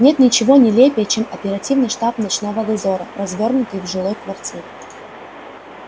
нет ничего нелепее чем оперативный штаб ночного дозора развёрнутый в жилой квартире